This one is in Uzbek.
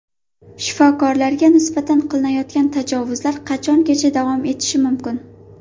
Shifokorlarga nisbatan qilinayotgan tajovuzlar qachongacha davom etishi mumkin?